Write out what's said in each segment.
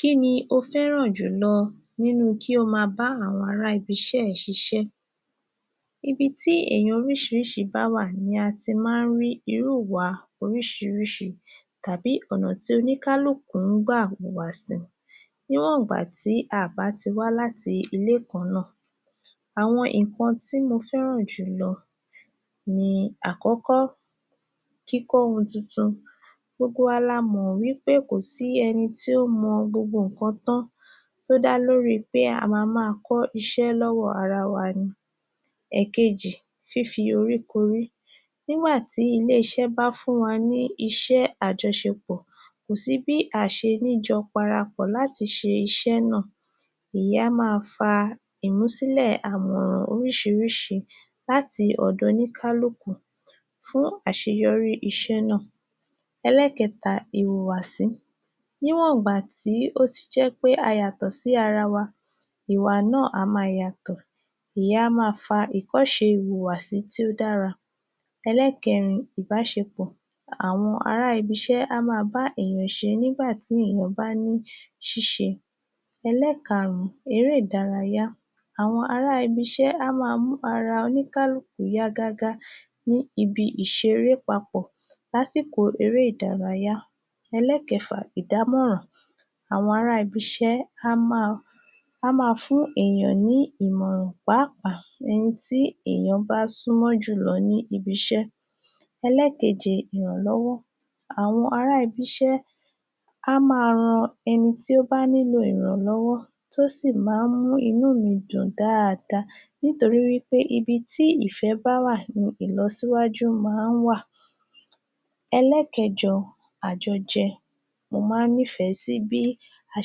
Kí ni o fẹ́ràn jùlọ nínú kí o ma bá àwọn ara ibi-iṣé rẹ ṣiṣẹ́? Ibi tí èyàn oríṣiríṣi bá wà ni a ti ma ń rí irú ìà oríṣiríṣi tàbí ọ̀nà tí oníkálukú ń gbà hùwà sí. Níwọ̀n ìgbà tí a bá ti wá láti ilé kan náà. Àwọn ǹkan tí mo fẹ́ràn jùlọ ni Àkọ́kọ́- kíkọ́ ohun titun, gbogbo wa la mọ̀ pé kò sí ẹni tí ó mọ gbogbo ǹkan tán ó dá lórí i pé a ma ma kọ́ iṣẹ́ lọ́wọ́ ara wa ni. Ẹ̀kejì- fífi oríkorí nígbà tí ilé-iṣẹ́ bá fún wa ní iṣẹ́ àjọṣepọ̀ kò sí bí à ṣe ní jọ parapọ̀ láti ṣe iṣẹ́ náà ìyẹn a máa fa ìmúsílẹ̀ àmọ̀ràn oríṣiríṣi láti ọ̀dọ̀ oníkálukú fún àṣẹyọrí iṣẹ́ náà. Ẹlẹ́kẹta- ìhùwàsí, níwọ̀n ìgbà tí ó ti jẹ́ pé a yàtọ̀ sí ara wa ìwà náà máa yàtọ̀ ìyẹn a máa fa ìọ́ṣe ìhùwàsí tí ó dára. Ẹlẹ́kẹrin- ìbáṣepọ̀. Àwọn ara ibiṣẹ́ a máa bá èyàn ṣe nígbà tí èyàn bá ní ṣíṣe. Ẹlẹ́karùn-ún- eré ìdárayá. Àwọn ará ibiṣẹ́ a máa mú ara oníkálukú ó yá gágá ní ibi ìseré papọ̀ lásìkò eré ìdárayá. Ẹlẹ́kẹfà- ìdàmọ́ra. Àwọn ara ibiṣẹ́ a máa fún èyàn ní ìmọ̀ràn, pàápàá ẹni tí èyàn bá súnmọ́ jùlọ ní ibiṣẹ́. Ẹlẹ́keje- ìrànlọ́wọ́. Àwọn ará ibisẹ́ a máa ran ẹni tí ó bá nílò ìrànlọ́wọ́ tí ó sì máa ń mú inú mi dùn dáadáa nítorí wí pé ibi tí ìfé bá wà ni ìlọsíwájú máa ń wà. Ẹlẹ́kẹjọ- àjọjẹ, mo ma ń nífẹ sí bí a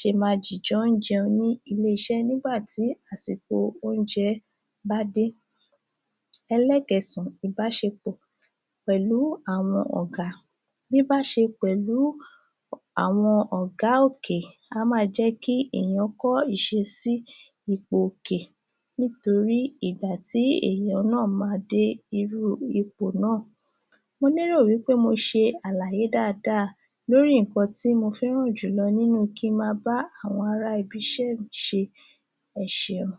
jọ ma dìjọ ń jẹun ní ilé-iṣẹ́ nígbà tí àsìkò oúnjẹ bá dé. Ẹlẹ́kẹsàn-án- ìbáṣepọ̀ pẹ̀lú àwọn ọ̀gá: bíbáṣe pẹ̀lú àwọn ọ̀gá òkè a máa jẹ́ kí èyàn kọ́ ìṣesí ipò òkè nítorí ìgbà tí èyàn máa máa dé irú ipò náà. Mo lérò wí pé mo ṣe àlayé dáadáa lórí ǹkan tí mo fẹ́ràn jùlọ nínú kí n ma bá àwọn ibi-iṣẹ́ mi ṣe. Ẹ ṣeun.